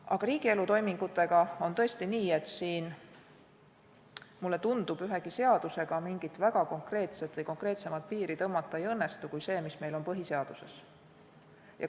Aga riigielu toimingutega on tõesti nii, et siin, mulle tundub, ühegi seadusega mingit väga konkreetset või konkreetsemat piiri tõmmata ei õnnestu kui see, mis meil on põhiseaduses.